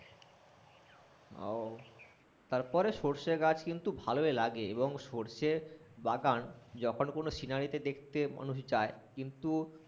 উহ তারপরে সর্ষে গাছ কিন্তু ভালোই লাগে এবং সর্ষে বাগান যখন কোনো সিনারি দেখতে মানুষ যায় কিন্তু